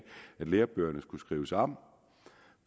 lærebøgerne skulle skrives om